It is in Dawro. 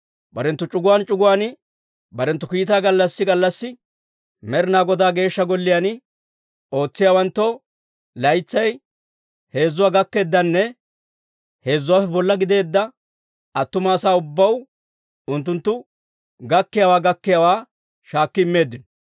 Barenttu c'uguwaan c'uguwaan barenttu kiitaa gallassi gallassi Med'inaa Godaa Geeshsha Golliyaan ootsiyaawanttoo, laytsay heezuwaa gakkeeddanne heezuwaappe bolla gideedda attuma asaa ubbaw unttunttu gakkiyaawaa gakkiyaawaa shaakki immeeddino.